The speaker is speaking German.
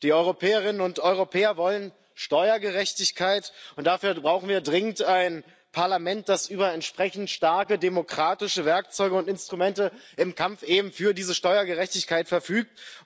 Die Europäerinnen und Europäer wollen Steuergerechtigkeit, und dafür brauchen wir dringend ein Parlament, das über entsprechend starke demokratische Werkzeuge und Instrumente im Kampf eben für diese Steuergerechtigkeit verfügt.